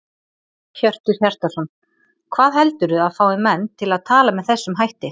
Hjörtur Hjartarson: Hvað heldurðu að fái menn til að tala með þessum hætti?